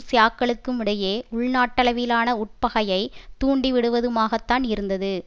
ஷியாக்களுக்கும் இடையே உள்நாட்டளவிலான உட்பகையை தூண்டிவிடுவதுமாகத்தான் இருந்தது